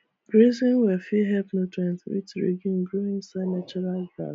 grazing well fit help nutrient rich legume grow inside natural grass